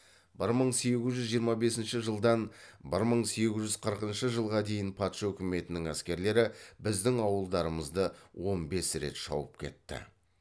бір мың сегіз жүз жиырма бесінші жылдан бір мың сегіз жүз қырқыншы жылға дейін патша өкіметінің әскерлері біздің ауылдарымызды он бес рет шауып кетті